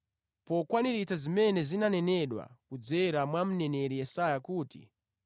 pokwaniritsa zimene zinanenedwa kudzera mwa mneneri Yesaya kuti,